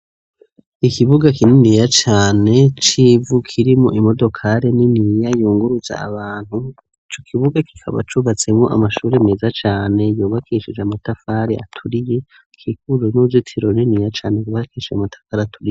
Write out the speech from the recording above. Ikibuga kininiya cane, c'ivu kirimo Imodokare niniya yungurutse Abantu, ico kibuga kikaba cubatsemwo Amashuri meza cane, yubakeshije Amatafari aturiye, kikuru n'uzitiro niniya cane yubakeshije matafari aturiye